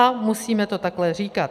A musíme to takhle říkat.